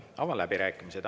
Avan läbirääkimised.